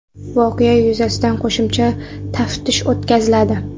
Voqea yuzasidan qo‘shimcha taftish o‘tkaziladi.